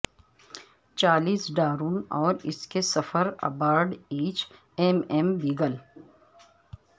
Charles Darwin اور اس کے سفر ابارڈ ایچ ایم ایم بیگل